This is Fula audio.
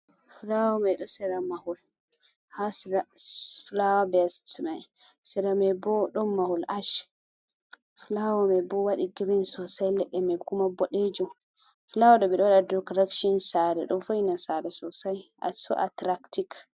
Fulaawa ɗo sera mahol, haa fulaawa bes may sera may bo ɗon mahol aac. Fulaawa may bo waɗi girin sosay leɗɗe may kuma boɗeeji .Fulaawa ɗo ɓe ɗo waɗa dikorektin saare. Ɗo wo'itina saare sosay, so atiraktik.